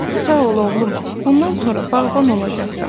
Sağ ol, oğlum, bundan sonra bağban olacaqsan.